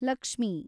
Lakshmi